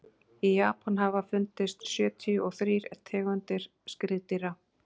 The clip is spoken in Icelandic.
í japan hafa fundist sjötíu og þrír tegundir skriðdýra